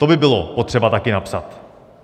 To by bylo potřeba taky napsat.